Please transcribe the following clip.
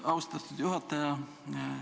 Aitäh, austatud juhataja!